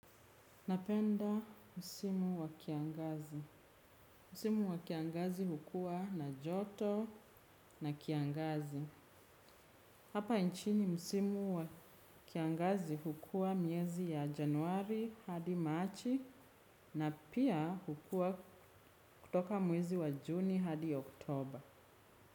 Napenda msimu wa kiangazi. Msimu wa kiangazi hukua na joto na kiangazi. Hapa nchini msimu wa kiangazi hukua miezi ya January hadi March na pia hukua kutoka mwezi wa Juni hadi October.